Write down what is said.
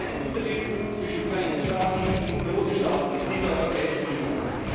Da gibt es keinen Unterschied zwischen kleinen Staaten und großen Staaten in der Europäischen